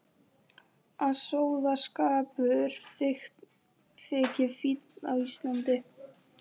Að sóðaskapur þyki fínn á Íslandi.